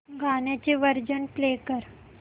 गाण्याचे version play कर